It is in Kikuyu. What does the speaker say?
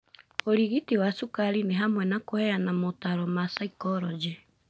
ũrigiti wa cukari nĩhamwe na kũheana motaro ma saikologĩ.